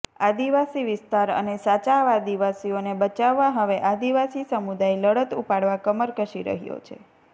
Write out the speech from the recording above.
આદિવાસી વિસ્તાર અને સાચા આદિવાસીઓને બચાવવા હવે આદિવાસી સમુદાય લડત ઉપાડવા કમર કસી રહ્યો છે